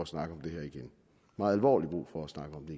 snakke om det her igen meget alvorlig brug for snakke om det